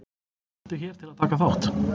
Smeltu hér til að taka þátt.